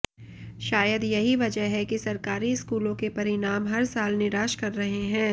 शायद यही वजह है कि सरकारी स्कूलों के परिणाम हर साल निराश कर रहे हैं